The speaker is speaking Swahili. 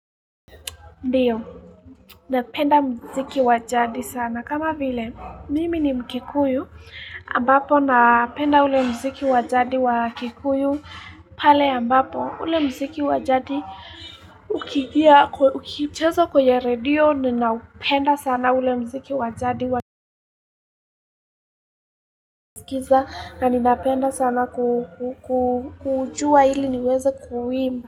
Ndiyo, napenda mziki wajadi sana. Kama vile, mimi ni mkikuyu, ambapo napenda ule mziki wajadi wakikuyu pale ambapo ule mziki wajadi ukigia, ukichezo kwenye redio, ninaupenda sana ule mziki wajadi wakiskiza na ninaupenda sana kujua hili niweze kuuimba.